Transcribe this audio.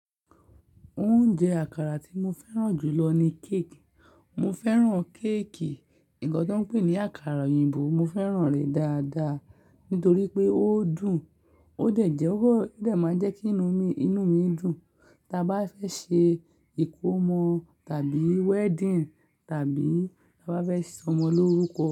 Oúnjẹ àkàrà tí mo fẹ́ràn jù lọ ni cake. Mo fẹ́ràn cake, ǹkan tó ń pè ní àkàrà òyìnbó. Mo fẹ́ràn rẹ̀ dáadáa nítorí pé ó dùn, ó dẹ̀ jẹ́, ó dẹ̀ ma jẹ́ kí inú mi dùn. Tí a bá fẹ́ ṣe ìkómọ tàbí wedding tàbí bá fẹ́ sọ ọmọ lórúkọ.